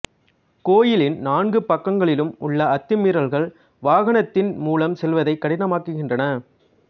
கோயிலின் நான்கு பக்கங்களிலும் உள்ள அத்துமீறல்கள் வாகனத்தின் மூலம் செல்வதை கடினமாக்குகின்றன